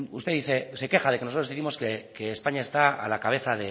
usted dice se queja de que nosotros décimos que españa está a la cabeza